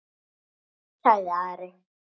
sagði Ari.